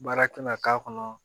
Baara tɛna k'a kɔnɔ